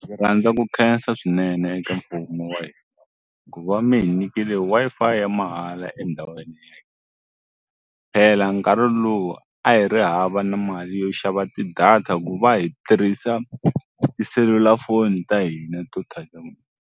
Ndzi rhandza ku khensa swinene eka mfumo wa hina ku va mi hi nyikile Wi-Fi ya mahala endhawini ya phela nkarhi luwa a hi ri hava na mali yo xava ti-data ku va hi tirhisa tiselulafoni ta hina to